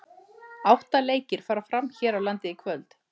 Átta leikir fara fram hér á landi í kvöld.